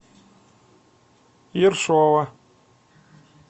ершова